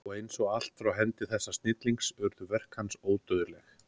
Og eins og allt frá hendi þessa snillings urðu verk hans ódauðleg.